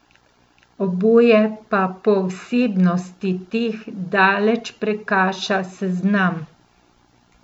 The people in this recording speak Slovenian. Oboje pa po vsebnosti teh daleč prekaša sezam.